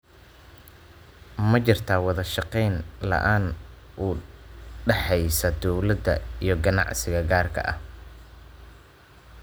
Waxa jirta wada shaqayn la�aan u dhaxaysa dawladda iyo ganacsiga gaarka ah.